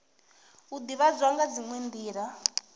u ivhadzwa nga dziwe nila